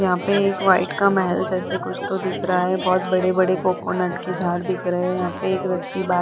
यहाँ पे एक वाइट का महल जैसे कुछ तो दिख रहा है बोहोत बड़े-बड़े कोकोनट के झाड़ दिख रहे है यहाँ पे एक व्यक्ति बाहर --